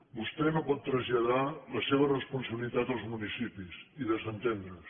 vostè no pot traslladar la seva responsabilitat als municipis i desentendre se’n